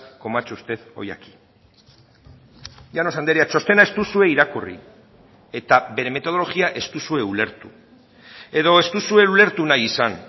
como ha hecho usted hoy aquí llanos andrea txostena ez duzue irakurri eta bere metodologia ez duzue ulertu edo ez duzue ulertu nahi izan